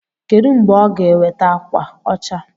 Kedụ mgbe ọ ga-eweta ákwà ọcha?